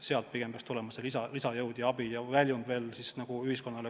Sealt peaks pigem tulema lisajõud ja abi kogu ühiskonnale.